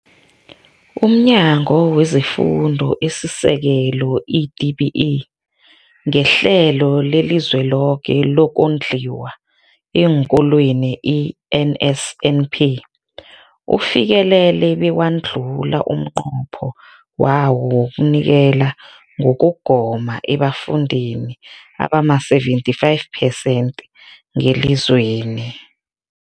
UmNyango wezeFundo esiSekelo, i-DBE, ngeHlelo leliZweloke lokoNdliwa eenKolweni, i-NSNP, ufikelele bewadlula umnqopho wawo wokunikela ngokugoma ebafundini abama-75 phesenthi ngelizweni.